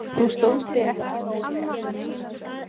Þú stóðst þig ekki nógu vel.